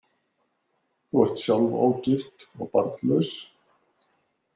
Þú ert sjálf ógift og barnlaus.